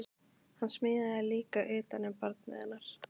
Hann smíðaði líka utan um barnið hennar